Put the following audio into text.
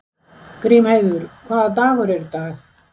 Grímheiður, hvaða dagur er í dag?